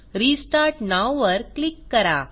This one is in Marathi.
रिस्टार्ट नोव वर क्लिक करा